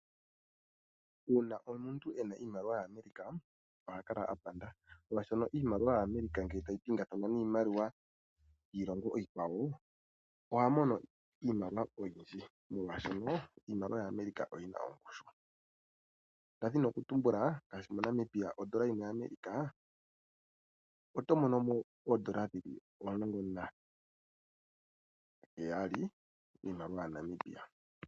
Uuna omuntu ena iimaliwa ya America oha kala aapanda molwashoka iimaliwa ya America ngele tayi pingathana niimaliwa yiilongo iikwawo, oha mono iimaliwa oyindji molwashoka iimaliwa ya America oyina oongushu, nda dhina oku tumbula ngashi moNamibia, oondola yimwe ya America oto monomo oondola dhili omulongo na heyali, iimaliwa ya Namibia.